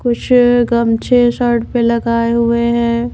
कुछ गमछे शर्ट पे लगाए हुए हैं।